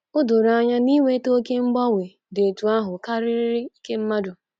O doro anya na iweta oké mgbanwe dị otú ahụ karịrị ike mmadụ.